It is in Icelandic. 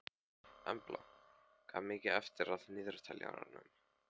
Embla, hvað er mikið eftir af niðurteljaranum?